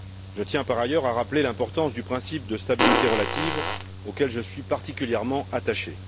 Je tiens par ailleurs à rappeler l'importance du principe de stabilité relative, auquel je suis particulièrement attaché.